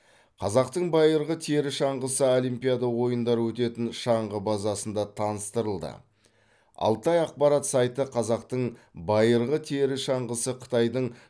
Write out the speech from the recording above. қазақтың байырғы тері шаңғысы олимпиада ойындары өтетін шаңғы базасында таныстырылды алтай ақпарат сайты қазақтың байырғы тері шаңғысы қытайдың